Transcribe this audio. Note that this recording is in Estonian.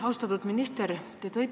Austatud minister!